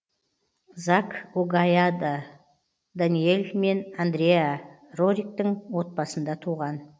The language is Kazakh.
зак огайада даниэль мен андреа рориктің отбасында туған